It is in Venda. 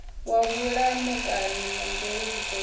wa vhulamukanyi na mveledziso ya